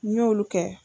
N y'olu kɛ